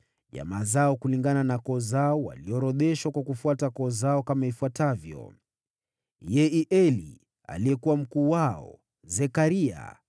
Jamaa zao kulingana na koo zao, walioorodheshwa kwa kufuata koo zao kama ifuatavyo: Yeieli aliyekuwa mkuu wao, Zekaria,